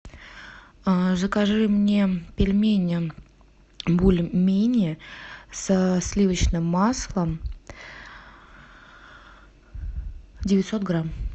закажи мне пельмени бульмени со сливочным маслом девятьсот грамм